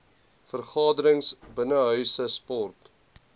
vergaderings binnenshuise sport